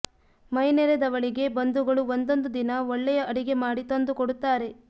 ಮೈನೆರೆದವಳಿಗೆ ಬಂಧುಗಳು ಒಂದೊಂದು ದಿನ ಒಳ್ಳೆಯ ಅಡಿಗೆ ಮಾಡಿ ತಂದು ಕೊಡುತ್ತಾರೆ